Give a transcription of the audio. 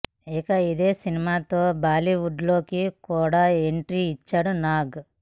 ఇక ఇదే సినిమాతో బాలీవుడ్ లోకి కూడా ఎంట్రీ ఇచ్చారు నాగ్